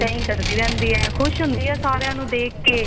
ਇਵੇਂ ਕਰਦੀ ਰਹਿੰਦੀ ਏ ਖੁਸ਼ ਹੁੰਦੀ ਏ ਸਾਰਿਆਂ ਨੂੰ ਦੇਖ ਕੇ